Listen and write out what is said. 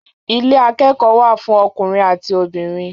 Ilé akẹ́kọ̀ọ́ wà fún akẹ́kọ̀ọ́ ọkùnrin àti obìnrin.